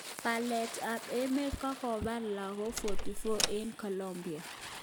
Palet ap rmeet kokopaf lagok 44 e ng Colombia